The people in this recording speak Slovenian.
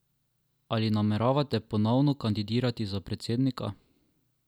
Ali nameravate ponovno kandidirati za predsednika?